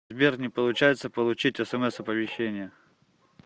сбер не получается получить смс оповещения